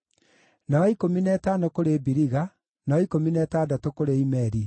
na wa ikũmi na ĩtano kũrĩ Biliga, na wa ikũmi na ĩtandatũ kũrĩ Imeri,